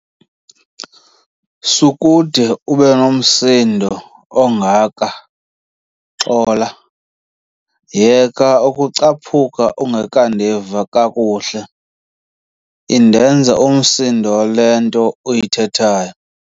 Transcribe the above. Sukude ube nomsindo kangaka, xola. yeka ukucaphuka ungekandiva kakuhle, indenza umsindo le nto uyithethayo